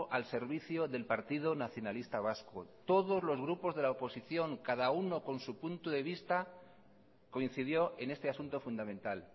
al servicio del partido nacionalista vasco todos los grupos de la oposición cada uno con su punto de vista coincidió en este asunto fundamental